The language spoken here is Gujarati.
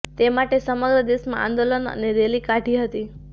તે માટે સમગ્ર દેશમાં આંદોલન અને રેલી કાઢી હતી